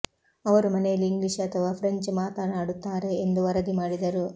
ಅವರು ಮನೆಯಲ್ಲಿ ಇಂಗ್ಲೀಷ್ ಅಥವಾ ಫ್ರೆಂಚ್ ಮಾತನಾಡುತ್ತಾರೆ ಎಂದು ವರದಿ ಮಾಡಿದರು